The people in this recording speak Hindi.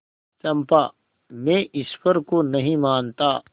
चंपा मैं ईश्वर को नहीं मानता